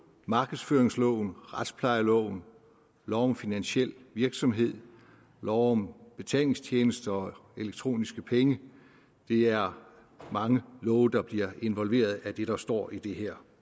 markedsføringsloven retsplejeloven lov om finansiel virksomhed og lov om betalingstjenester og elektroniske penge det er mange love der bliver involveret af det der står i det her